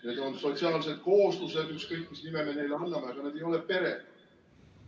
Need on sotsiaalsed kooslused, ükskõik mis nime me neile anname, aga need ei ole pered.